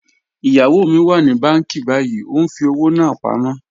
Iyawo mi wà ní bànki bàyìí, o n fi ọwọ́ náà pámọ.